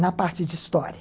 na parte de história.